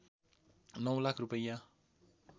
९ लाख रूपैयाँ